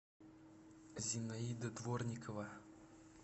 зинаида дворникова